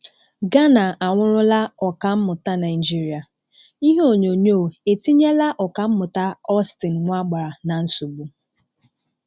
Ghana anwụrụla Ọkammụta Naijiria: Ihe onyonyo etinyela ọkammụta Austin Nwagbara na nsogbu?